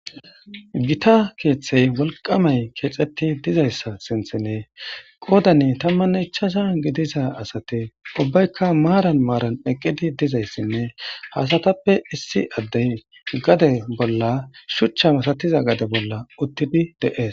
Gita keeththey walqamay keexetti dizayssa sinthinee qoodani tammanne ichasha gidiza asate ubbaykka maaran maaran eqqidi dizayssinne haasatappe issi addey gade bolla shuchcha masatiza gade bolla uttidi deees.